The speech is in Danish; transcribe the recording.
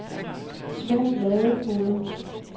Sven Ladefoged